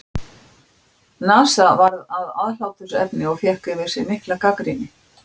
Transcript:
NASA varð að aðhlátursefni og fékk yfir sig mikla gagnrýni.